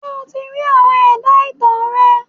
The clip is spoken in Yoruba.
Ṣé o ti rí àwọn ẹ̀dá ìtàn rẹ.?